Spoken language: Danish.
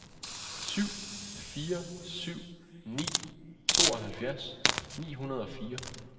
syv fire syv ni tooghalvfjerds ni hundrede og fire